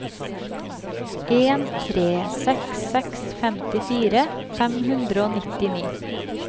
en tre seks seks femtifire fem hundre og nittini